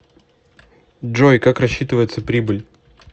джой как рассчитывается прибыль